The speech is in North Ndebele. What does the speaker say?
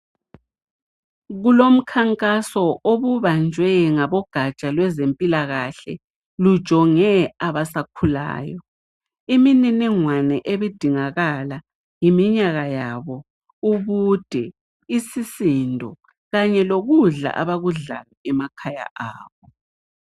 Kulomkhankaso, obubanjwe ngabogaja lwabezempikakahle. Lujonge abasakhulayo. Imininingwana ebidingakala yiminyaka yabo, ubude, isisindo, kanye lokudla abakudla emakhaya abo.